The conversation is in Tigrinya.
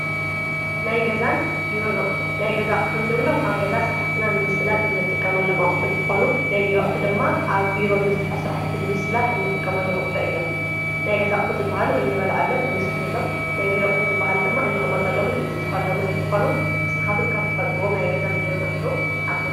ናይ ገዛን ብሮ ነቕሩ ናይ ገዛእ ሕኒእብሎም ኣብ ገዛ ሥራሕትና ንምስላጥ እንጥቀሙ ኣለማቝሕ እንተኾኑ ናይ ቢረቕሕ ድማ ኣብ ቢሮ እንሥርሖ ሥራሕቲ ልምስላጥ እንጥቀሞ ኣለመቕሑ እየም ናይ ገዛ ሕዚበሃሉ እንበልዓሎም እንሰት የሎም ናይቢረቕሕ ዚበሃሉ ድማ እንቕመጠሎምን እንጽሕፈኣሎምን እንተኾኑ ንትኻትም ካብ ትፈልጥዎም ናይ ገዛን ቢሮ ነቕሩ ዓብሩ።